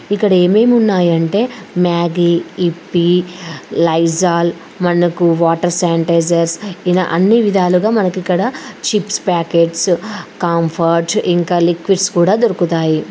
ఇక్కడ ఏమేమి ఉన్నాయంటే మ్యాగీ విఫి లైజాల్ మనకు వాటర్ శానిటైజర్స్ ఇలా అన్ని విధాలుగా మనకి ఇక్కడ చిప్స్ పాకెట్స్ కంఫర్ట్ ఇంకా లిక్విడ్స్ కూడా దొరుకుతాయి.